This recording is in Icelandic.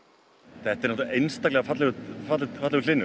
þetta er einstaklega fallegur fallegur hlynur